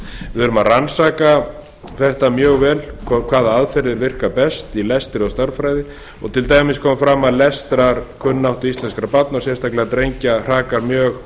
erum að rannsaka þetta mjög vel hvaða aðferðir virka best í lestri og stærðfræði til dæmis kemur fram að lestrarkunnáttu íslenskra barna og sérstaklega drengja hrakar mjög